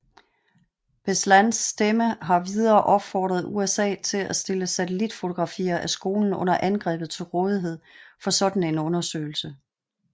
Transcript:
Beslans Stemme har videre opfordret USA til at stille satellitfotografier af skolen under angrebet til rådighed for sådan en undersøgelse